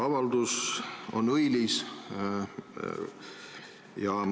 Avaldus on õilis.